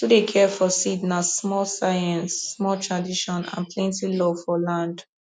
to dey care for seed na small science small tradition and plenty love for land